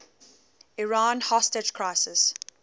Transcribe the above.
iran hostage crisis